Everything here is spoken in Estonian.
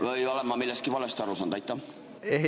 Või olen ma millestki valesti aru saanud?